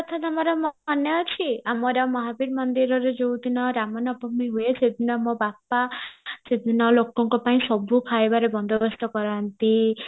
ତମର ମାନେ ଅଛି ଆମର ମହାବୀର ମନ୍ଦିରରେ ଯୋଉ ଦିନ ରାମା ନବମୀ ହୁଏ ସେଦିନ ମୋ ବାପା ସେଦିନ ଲୋକଙ୍କ ପାଇଁ ସବୁ ଖାଇବାର ବନ୍ଦୋବସ୍ତ କରନ୍ତି